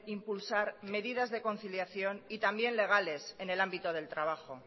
impulsar medidas de conciliación y también legales en el ámbito del trabajo